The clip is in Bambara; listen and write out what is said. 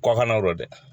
Kɔkannɔ dɛ